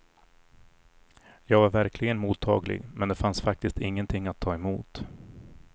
Jag var verkligen mottaglig men det fanns faktiskt ingenting att ta emot.